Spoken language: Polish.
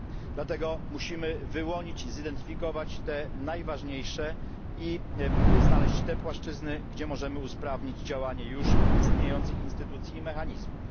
Dlatego musimy wyłonić i zidentyfikować te najważniejsze i znaleźć te płaszczyzny, gdzie możemy usprawnić działanie już istniejących instytucji i mechanizmów.